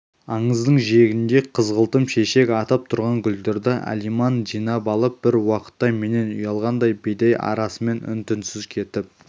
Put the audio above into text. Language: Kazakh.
аңыздың жиегінде қызғылтым шешек атып тұрған гүлдерді алиман жинап алып бір уақытта менен ұялғандай бидай арасымен үн-түнсіз кетіп